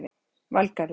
Valgarður